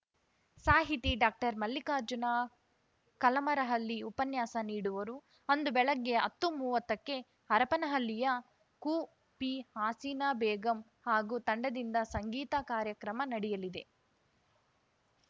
ಸಾಹಿತಿ ಡಾಕ್ಟರ್ಮಲ್ಲಿಕಾರ್ಜುನ ಕಲಮರಹಳ್ಳಿ ಉಪನ್ಯಾಸ ನೀಡುವರು ಅಂದು ಬೆಳಿಗ್ಗೆ ಹತ್ತುಮೂವತ್ತಕ್ಕೆ ಹರಪನಹಳ್ಳಿಯ ಕುಪಿಹಾಸೀನಾ ಬೇಗಂ ಹಾಗೂ ತಂಡದಿಂದ ಸಂಗೀತ ಕಾರ್ಯಕ್ರಮ ನಡೆಯಲಿದೆ